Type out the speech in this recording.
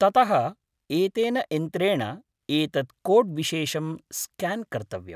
ततः एतेन यन्त्रेण एतत् कोड्विशेषं स्क्यान् कर्तव्यम्।